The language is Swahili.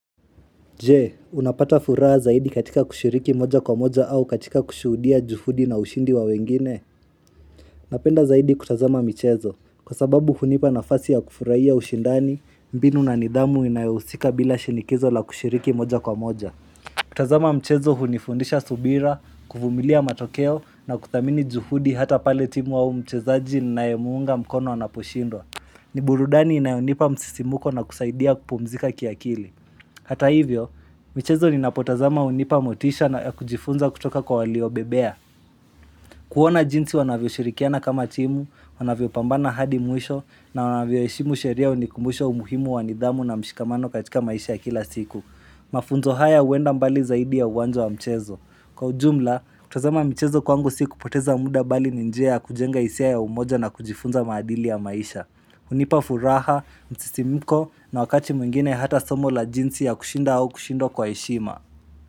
Je, unapata furaha zaidi katika kushiriki moja kwa moja au katika kushudia juhudi na ushindi wa wengine? Napenda zaidi kutazama mchezo, kwa sababu hunipa nafasi ya kufurahia ushindani, mbinu na nidhamu inayohusika bila shinikizo la kushiriki moja kwa moja. Kutazama mchezo hunifundisha subira, kuvumilia matokeo na kuthamini juhudi hata pale timu au mchezaji ninaye muunga mkono anaposhindwa. Ni burudani inayonipa msisimuko na kusaidia kupumzika kiakili. Hata hivyo, mchezo ninapotazama hunipa motisha na kujifunza kutoka kwa waliobobea. Kuona jinsi wanavyoshirikiana kama timu, wanavyopambana hadi mwisho, na wanavyoheshimu sheria hunikumbusha umuhimu wa nidhamu na mshikamano katika maisha ya kila siku. Mafunzo haya huenda mbali zaidi ya uwanjo wa mchezo. Kwa ujumla, kutazama mchezo kwangu si kupoteza muda bali ni njia ya kujenga hisia ya umoja na kujifunza maadili ya maisha. Hunipa furaha, msisimiko na wakati mwingine hata somo la jinsi ya kushinda au kushindwa kwa heshima.